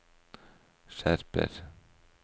skjerper